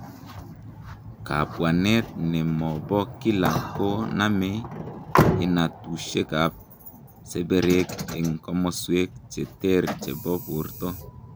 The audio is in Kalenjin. Kabwanet ne mo bo kila ko name inatushekab seberek eng' komaswek che ter che bo borto.